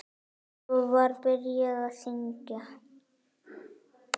Svo var byrjað að syngja.